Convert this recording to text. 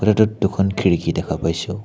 কোঠাটোত দুখন খিৰিকী দেখা পাইছোঁ।